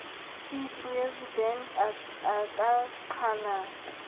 c presidente a ka qhala